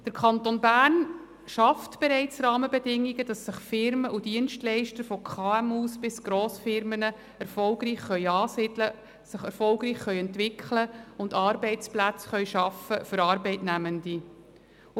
Der Kanton Bern schafft bereits Rahmenbedingungen, dass sich Firmen und Dienstleister – von KMU bis Grossfirmen – erfolgreich ansiedeln, sich erfolgreich entwickeln und Arbeitsplätze für Arbeitnehmende schaffen können.